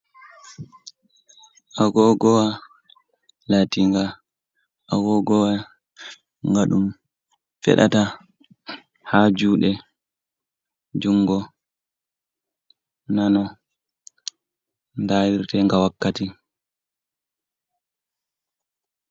Agogowa laatinga agogowa nga ɗum feɗata haa juuɗe, jungo nano, ndarirtenga wakkati.